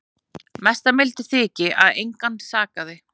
Mesta mildi þykir að engan sakaði